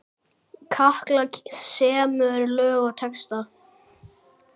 Katla semur lög og texta.